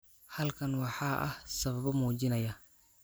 Halkan waxaa ah sababo muujinaya